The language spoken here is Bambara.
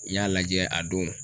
N y'a lajɛ a don.